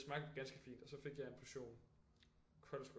Det smagte ganske fint og så fik jeg en portion koldskål